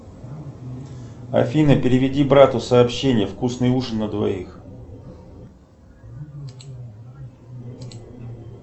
афина переведи брату сообщение вкусный ужин на двоих